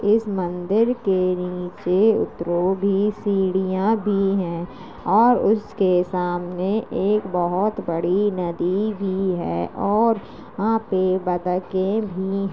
इस मंदिर के नीचे उतरो भी सीढ़िया भी हैं और उसके सामने एक बहोत बड़ी नदी भी है और वहाँ पे बतके भी --